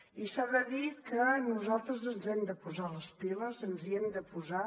i s’ha de dir que nosaltres ens hem de posar les piles ens hi hem de posar